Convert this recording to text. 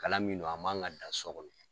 Kalan min no a man ka dan so kɔnɔ